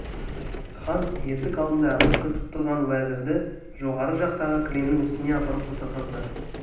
хан есік алдында әмір күтіп тұрған уәзірді жоғары жақтағы кілемнің үстіне апарып отырғызды